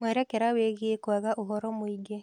Mwerekera wĩgiĩ kwaga ũhoro mũingĩ